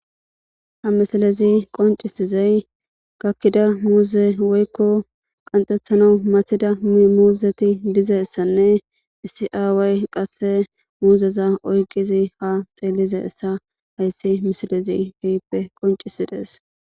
Ha misalezi qoncisizey gakkida muuze woykko qanxethana mathida mmuuzeti dizeessanne isiaaway qasse muuzeza oyqizi ha xeellize essa hayssi misilezi hehippe qoncisides.